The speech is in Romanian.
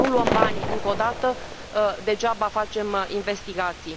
Dacă nu luăm banii, încă o dată, degeaba facem investigații.